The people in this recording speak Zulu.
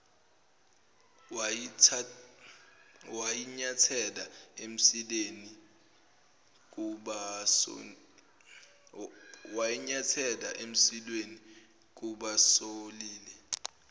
wayinyathela emsileni kubasolile